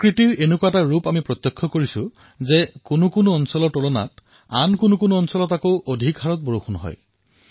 প্ৰকৃতিৰ স্থিতি এনেকুৱা হয় যে কিছুমান স্থানত অন্য স্থানতকৈ অধিক বৰষুণ হয়